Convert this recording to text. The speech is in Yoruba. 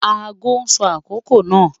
Ago sọ akokò náà.